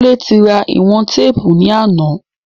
Kúnlé ti ra ìwọ̀n téèpù ní àná